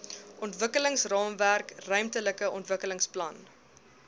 ontwikkelingsraamwerk ruimtelike ontwikkelingsplan